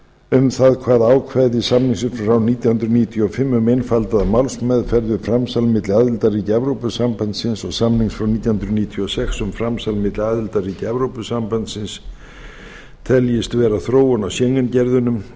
um það hvaða ákvæði samningsins frá nítján hundruð níutíu og fimm um einfaldaða málsmeðferð við framsal milli aðildarríkja evrópusambandsins og samnings frá nítján hundruð níutíu og sex um framsal milli aðildarríkja evrópusambandsins teljist vera þróun á schengen gerðunum